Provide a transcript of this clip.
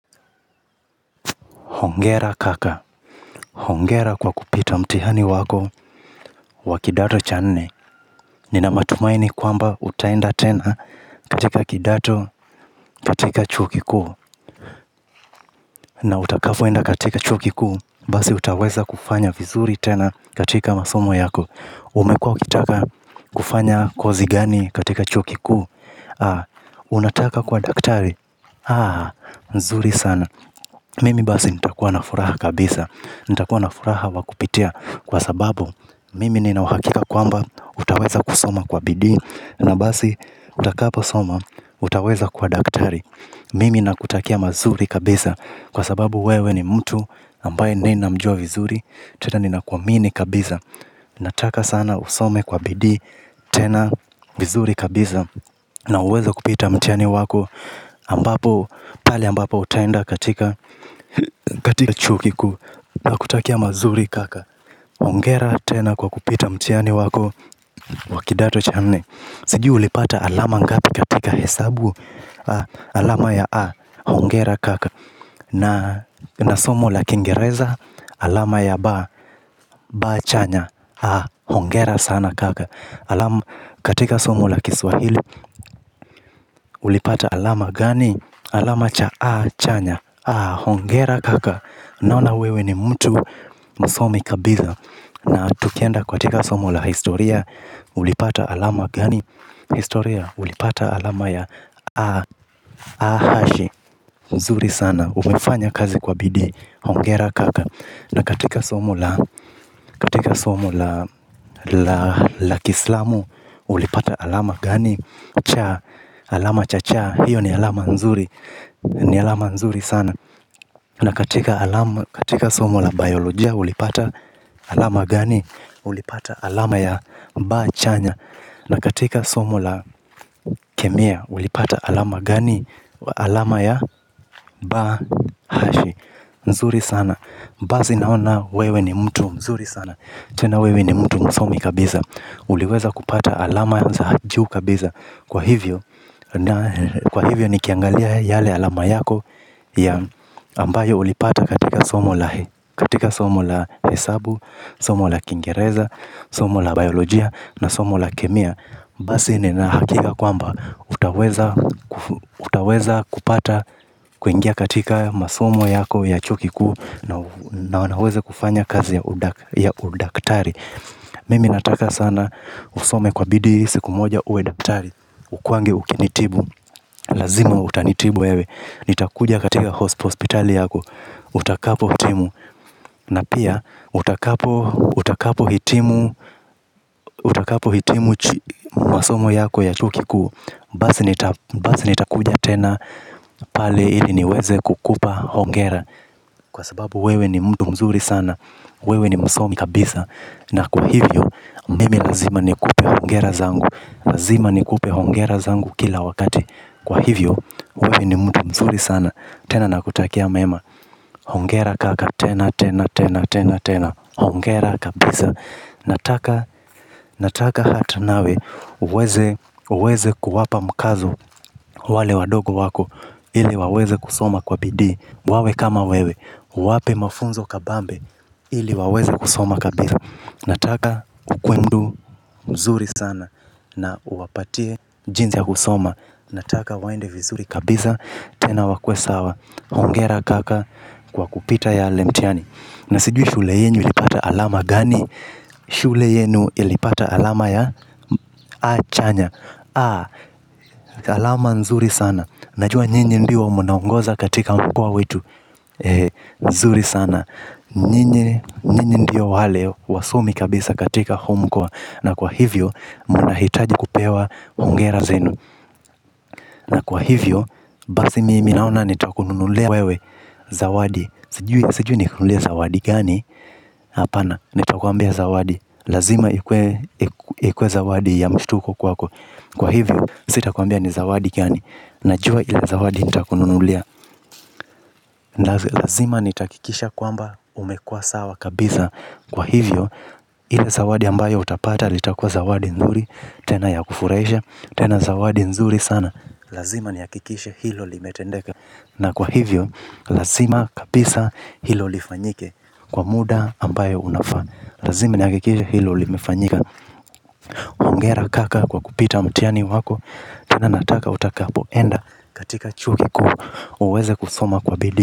Hongera kaka. Hongera kwa kupita mtihani wako wa kidato cha nne. Nina matumaini kwamba utaenda tena katika kidato katika chuo kikuu. Na utakapoenda katika chuo kikuu. Basi utaweza kufanya vizuri tena katika masomo yako. Umekuwa ukitaka kufanya kozi gani katika chuo kikuu. Haa, unataka kuwa daktari. Haa, nzuri sana. Mimi basi nitakuwa na furaha kabisa. Nitakuwa na furaha wa kupitia kwa sababu mimi nina uhakika kwamba utaweza kusoma kwa bidii. Na basi utakapo soma utaweza kuwa daktari. Mimi nakutakia mazuri kabisa kwa sababu wewe ni mtu ambaye nina mjua vizuri. Tena nina kuamini kabisa. Nataka sana usome kwa bidii tena vizuri kabisa. Na uweze kupita mtiani wako ambapo pale ambapo utaenda katika katika chuo kikuu. Nakutakia mazuri kaka. Hongera tena kwa kupita mtihani wako wa kidato cha nne. Sijui ulipata alama ngapi katika hesabu. Alama ya A. Hongera kaka. Na somo la kingereza. Alama ya ba ba chanya. Hongera sana kaka. Katika somo la kiswahili. Ulipata alama gani. Alama cha a chanya. Hongera kaka. Naona wewe ni mtu msomi kabisa na tukienda katika somo la historia ulipata alama gani historia ulipata alama ya a hashi. Nzuri sana umefanya kazi kwa bidi hongera kaka na katika somo la katika somo la la kiislamu ulipata alama gani cha alama cha cha hiyo ni alama nzuri ni alama nzuri sana. Na katika katika somo la biolojia ulipata alama gani. Ulipata alama ya ba chanya. Na katika somo la kemia ulipata alama gani. Alama ya ba hashi. Nzuri sana. Basi naona wewe ni mtu mzuri sana tena wewe ni mtu msomi kabisa. Uliweza kupata alama za juu kabisa kwa hivyo. Kwa hivyo nikiangalia yale alama yako ya ambayo ulipata katika somo la katika somo la hesabu. Somo la kingereza. Somo la biolojia. Na somo la kemia. Basi nina hakika kwamba utaweza utaweza kupata kuingia katika masomo yako ya chuo kikuu. Na wanaweza kufanya kazi ya udaktari mimi nataka sana usome kwa bidii siku moja uwe daktari ukuwange ukinitibu lazima utanitibu wewe nitakuja katika hospitali yako. Utakapo hitimu na pia utakapo utakapo hitimu utakapo hitimu. Masomo yako ya chuo kikuu. Basi nitakuja tena. Pale ili niweze kukupa. Hongera kwa sababu wewe ni mtu mzuri sana wewe ni msomi kabisa na kwa hivyo mimi lazima nikupe hongera zangu lazima nikupe hongera zangu kila wakati kwa hivyo wewe ni mtu mzuri sana tena nakutakia mema. Hongera kaka, tena, tena, tena, tena, hongera kabisa. Nataka, nataka hata nawe, uweze, uweze kuwapa mkazo wale wadogo wako. Ili waweze kusoma kwa bidii, wawe kama wewe, uwape mafunzo kabambe. Ili waweze kusoma kabisa. Nataka ukuwe mtu mzuri sana na uwapatie jinsi ya kusoma. Nataka waende vizuri kabisa tena wakuwe sawa. Hongera kaka kwa kupita yale mtihani. Na sijui shule yenu ilipata alama gani? Shule yenu ilipata alama ya a chanya. Alama nzuri sana. Najua nyinyi ndio mnaongoza katika mkoa wetu. Nzuri sana. Nyinyi ndio wale wasomi kabisa katika huu mkoa. Na kwa hivyo mna hitaji kupewa hongera zenu. Na kwa hivyo basi mimi naona nitakununulia wewe zawadi sijui nikununulie zawadi gani hapana nitakwambia zawadi. Lazima ikuwe zawadi ya mshtuko kwako. Kwa hivyo sitakwambia ni zawadi gani. Najua ile zawadi nitakunulia. Lazima nitahakikisha kwamba umekuwa sawa kabisa. Kwa hivyo ile zawadi ambayo utapata. Litakua zawadi nzuri tena ya kufurahisha. Tena zawadi nzuri sana. Lazima nihakikishe hilo limetendeka. Na kwa hivyo, lazima kabisa hilo lifanyike kwa muda ambayo unafaa. Lazima nihakikishe hilo limefanyika hongera kaka kwa kupita mtihani wako. Tena nataka utakapo enda katika chuo kikuu. Uweze kusoma kwa bidii.